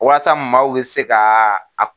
Walasa maaw be se ka a